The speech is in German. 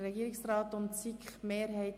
Regierungsrat/SiK-Mehrheit